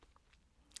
DR2